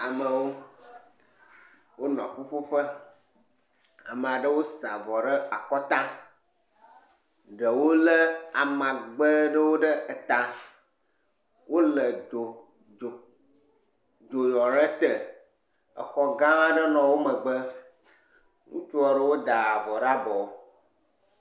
Amewo wonɔ ƒuƒoƒe. Ame aɖewo sa avɔ ɖe akɔta, ɖewo le amagbe ɖewo ɖe eta. Wo le dzodzo dzo ɖe te. Exɔ gã aɖe nɔ wo megbe. Ŋutsu aɖewo da avɔ ɖe abɔ.